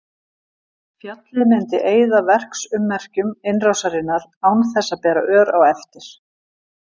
Fjallið myndi eyða verksummerkjum innrásarinnar án þess að bera ör á eftir.